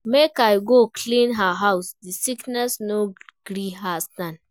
Make I go clean her house, di sickness no gree her stand.